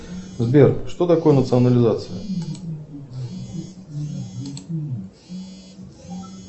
сбер что такое национализация